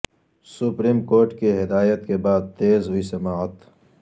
supreme court کی ہدایت کے بعد تیز ہوئی سماعت